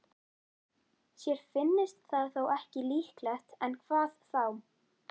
Sér finnist það þó ekki líklegt, en hvað þá?